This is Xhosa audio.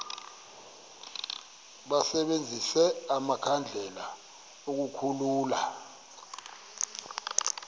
basebenzise amakhandlela ukukhulula